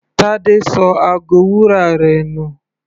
Tade ṣọ ago wúrà rẹ̀ nù.